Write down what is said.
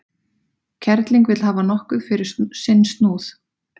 Kerling vill hafa nokkuð fyrir sinn snúð.